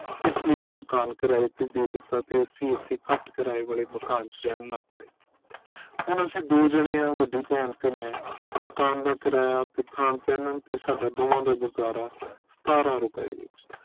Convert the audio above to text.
ਇਸ ਲਈ ਉਹ ਮਕਾਨ ਕਿਰਾਏ ਤੇ ਦੇਤਾ ਤੇ ਅਸੀਂ ਇਹ ਘੱਟ ਕਿਰਾਏ ਵਾਲੇ ਮਕਾਨ ਚ ਰਹਿਣ ਲਗ ਪਏ ਹੁਣ ਅਸੀਂ ਦੋ ਜਣੇ ਆ ਵੱਡੀ ਭੈਣ ਤੇ ਮੈਂ ਮਕਾਨ ਦਾ ਕਿਰਾਇਆ ਤੇ ਖਾਣ ਪਹਿਨਣ ਤੇ ਸਾਡਾ ਦੋਹਾਂ ਦਾ ਗੁਜ਼ਾਰਾ ਸਤਾਰਾਂ ਰੁਪਏ ਵਿਚ